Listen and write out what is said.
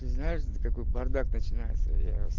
ты знаешь такой бардак начинается я с